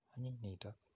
Anyiny nitok.